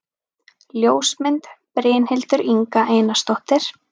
Ljósmynd: Brynhildur Inga Einarsdóttir